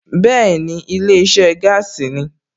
Bẹ́ẹ̀ni, ilé iṣẹ́ gáàsì ni